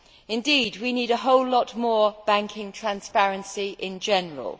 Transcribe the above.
Indeed we need a whole lot more banking transparency in general.